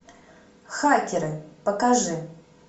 хакеры покажи